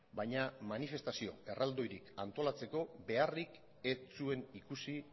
baina manifestazio erraldoirik antolatzeko beharrik ez zuen ikusi